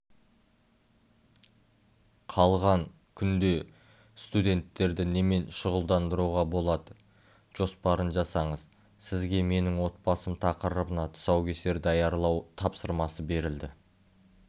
қалған күнде студенттерді немен шұғылдандыруға болады жоспарын жасаңыз сізге менің отбасым тақырыбына тұсаукесер даярлау тапсырмасы берілді